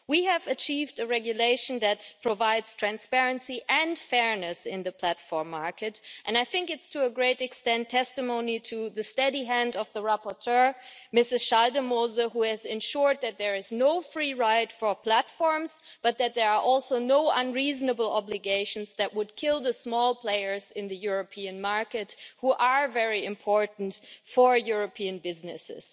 We have achieved a regulation that provides transparency and fairness in the platform market, and I think it's to a great extent testimony to the steady hand of the rapporteur, Mrs Schaldemose, who has ensured that there is no free ride for platforms but that there are also no unreasonable obligations that would kill the small players in the European market, who are very important for European businesses.